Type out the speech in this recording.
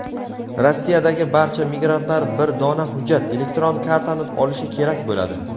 Rossiyadagi barcha migrantlar bir dona hujjat — elektron kartani olishi kerak bo‘ladi.